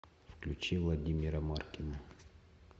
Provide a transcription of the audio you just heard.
включи владимира маркина